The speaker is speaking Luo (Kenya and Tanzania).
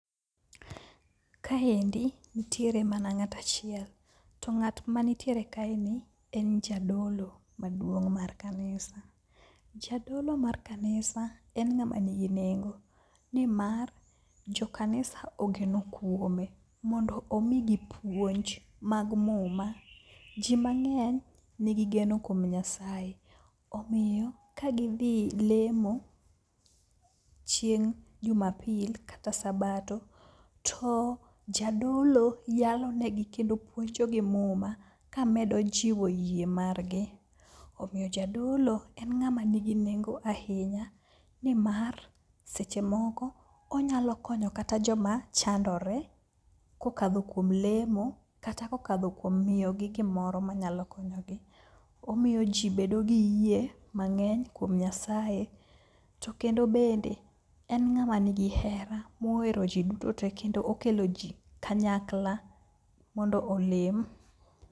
Kaendi nitiere mana ng'at achiel to ng'at manitiere kaeni en jadolo maduong' mar kanisa. Jadolo mar kanisa en ng'ama nigi nengo nimar jokanisa ogeno kuome mondo omigi puonj mag muma. Ji mang'eny nigi geno kuom Nyasaye omiyo kagidhi lemo chieng' jumapil kata sabato to jadolo yalonegi kendo puonjogi muma kamedo jiwo yie margi, omiyo jadolo en ng'ama nigi nengo ahinya nimar seche moko onyalo konyo kata joma chandore kokadho kuom lemo kata kokadho kuom miyogi gimoro manyalo konyogi. Omiyo ji bedo gi yie mang'eny kuom Nyasaye to kendo bende en ng'ama nigi hera mohero ji duto tee kendo okelo ji kanyakla mondo olem.